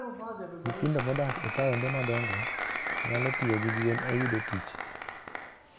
Nyithindo modak e taonde madongo nyalo tiyo gi gwen e yudo tich.